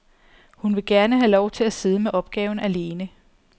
Hun vil gerne have lov at sidde med opgaven alene.